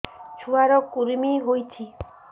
ଛୁଆ ର କୁରୁମି ହୋଇଛି